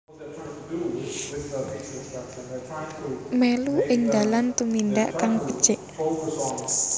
Mèlu ing dalan tumindak kang becik